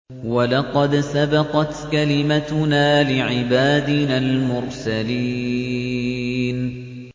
وَلَقَدْ سَبَقَتْ كَلِمَتُنَا لِعِبَادِنَا الْمُرْسَلِينَ